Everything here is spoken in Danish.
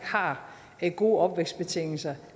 har gode opvækstbetingelser